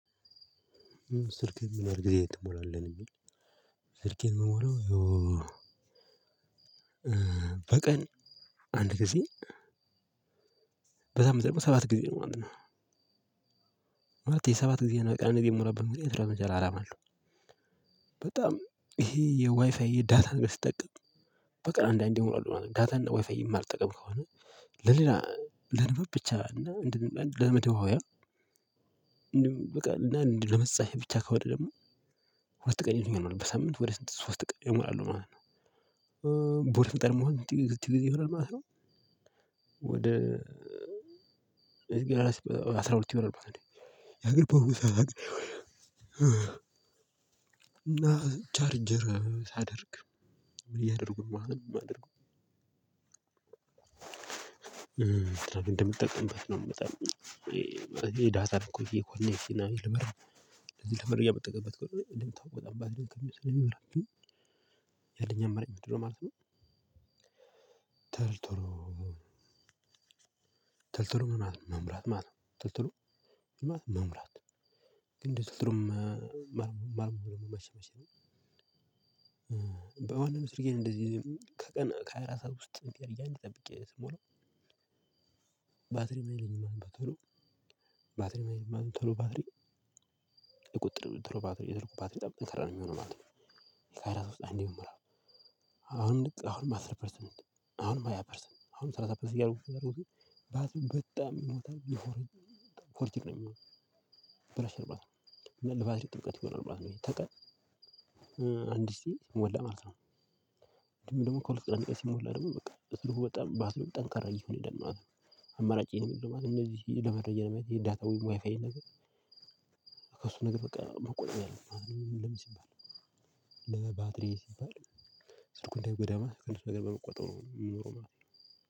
ስልኬን? ምን ያህል ጊዜ ትሞላለህ ነው ሚለው ስልኬን ምሞላው ያው በቀን አንድ ጊዜ በጣም ጠብቆ ሰባት ጊዜ ነው ማለት ነው። ማለቴ ሰባት ጊዜ ነው በቃ እነዚህ የምሞላበት ምክንያት ለመጀመሪያ አላማ አለው። በጣም ይሄ የዋይፋይ ዳታን ስጠቀም በቀን አንዳንዴ እሞላለሁ ማለት ነው። ዳታን ዋይፋይ የማልጠቀም ከሆነ ለንባብ ብቻ እና ለመደዋወያ እንዲሁም በቃ እና ለመፅሀፍ ብቻ ከሆነ ደግሞ በአጠቃላይ ምን ይሆን በሳምንት ወደ ስድስት ሶስት ቀን ይሆናል ማለት ነው። በሁለት ቀን ማለት ነው። አስራ ሁለት ይሆናል ማለት ነው። የአገር በኩሳት እና ቻርጀር ሳደርግ እያደረጉ ነው ማለት ነው የማደርገው። እንደምጠቀምበት ነው በጣም ይሄ ዳታ እኮ ይሄ ኮኔክ ሲናዊ ልምር ልምር ተመርገው የምትጠቀመው እንዴ? እንዴት ታውቃለህ? ባድሪውን ከሚበራብኝ ያለኝ አማራጭ ምንድነው ማለት ነው። ትልትሉ ትልትሉ ምናምን መምራት ማለት ነው። ቶሎ ቶሎ ማለት መሙላት ግን ትልትሉም መምራት መቼ ነው? በወንድ ምስርጌ እንደዚህ ከቀን ከሃያ አራት ሰዓት ውስጥ ገረያ እንዲጠብቅ ስሞላው ባትሪ ማይለኝም ተሎ ባትሪ ማይለኝም ተሎ ባትሪ ቁጥጥር የትርፉ ባትሪት ጠብቅ መከራ ነው። የሚሆነው አሁን አሁን አስር ፐርሰንት አሁንም ሃያ ፐርሰንት አሁንም ሰላሳ ፐርሰንት እያደረጉኝ እያደረጉኝ በጣም ይሞታል የሚሆነው ነው የሚሆነው። ብራሽ አልባት ነው ለባትሪ ጥልቀት ይሆናል ብራሽ ነው ተቀል። አንድ ሲሞላ ማለት ነው ደግሞ ከሁለት ቀን አንድ ቀን ሲሞላ ደግሞ በቃ እሱ በጣም ባትሪው ጠንካራ እየሆነ ይላል ነው። አማራጬ ነው ምንድነው? ማለት እንደዚህ ለመቀየር ማየት የዳታ ወይም ዋይፋይ ነገር ከእሱ ነገር በቃ መቆጠብ ያለብን ለምን ሲባል? ለባትሪ ሲባል ስልኩን እንዳይጎዳ ከእሱ ነገር በመቆጠብ ነው የሚሆነው።